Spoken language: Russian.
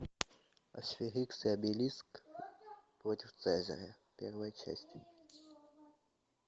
астерикс и обеликс против цезаря первая часть